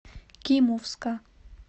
кимовска